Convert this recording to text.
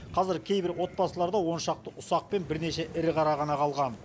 қазір кейбір отбасыларда он шақты ұсақ пен бірнеше ірі қара ғана қалған